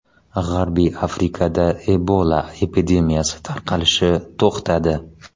G‘arbiy Afrikada Ebola epidemiyasi tarqalishi to‘xtadi.